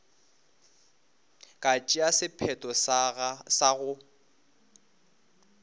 ka tšea sephetho sa go